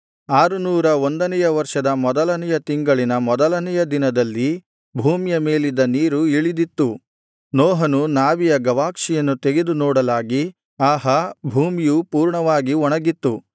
ಆರುನೂರ ಒಂದನೆಯ ವರ್ಷದ ಮೊದಲನೆಯ ತಿಂಗಳಿನ ಮೊದಲನೆಯ ದಿನದಲ್ಲಿ ಭೂಮಿಯ ಮೇಲಿದ್ದ ನೀರು ಇಳಿದಿತ್ತು ನೋಹನು ನಾವೆಯ ಗವಾಕ್ಷಿಯನ್ನು ತೆಗೆದು ನೋಡಲಾಗಿ ಆಹಾ ಭೂಮಿಯು ಪೂರ್ಣವಾಗಿ ಒಣಗಿತ್ತು